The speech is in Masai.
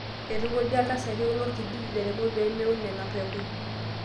Eitukuja ltasati lolkijiji lairemok pee meun nena pekun